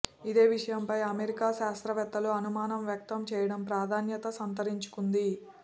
ఇదే విషయంపై అమెరికా శాస్త్రవేత్తలు అనుమానం వ్యక్తం చేయడం ప్రాధాన్యత సంతరించుకుంది